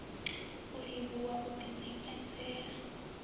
u livhuwa u ḓi ṋekedzela